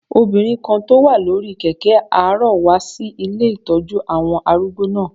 Obìnrin kan tó wà lórí kẹ̀kẹ́ arọ wá sí ilé ìtọ́jú àwọn arúgbó náà